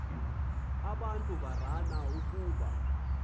abantu barana kuba